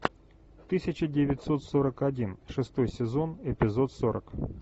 тысяча девятьсот сорок один шестой сезон эпизод сорок